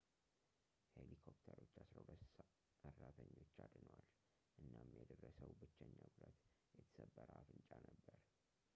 ሄሊኮፕተሮች ዐሥራ ሁለት ሠራተኞች አድነዋል እናም የደረሰው ብቸኛ ጉዳት የተሰበረ አፍንጫ ነበር